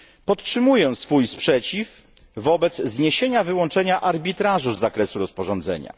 Podtrzymuję swój sprzeciw wobec zniesienia wyłączenia arbitrażu z zakresu rozporządzenia.